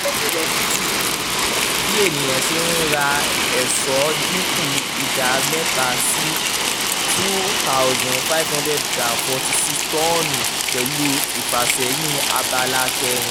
ní twenty twenty two bí ènìyàn ṣe ń ra ẹ̀sọ́ dínkù ìdá mẹ́ta sí two thousand five hundred forty six tọ́ọ̀nù pẹ̀lú ìfàsẹ́yìn abala kẹrin.